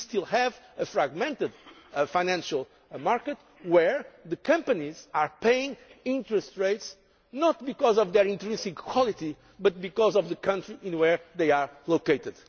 We still have a fragmented financial market where companies are paying interest rates not because of their intrinsic quality but because of the country in which they are located.